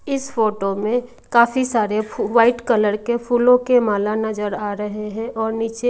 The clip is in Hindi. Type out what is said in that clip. इस फोटो में काफी सारे व्हाईट कलर के फूलों के माला नजर आ रहे हैं और नीचे--